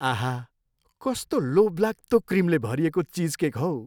आहा, कस्तो लोभलाग्दो क्रिमले भरिएको चिजकेक हो!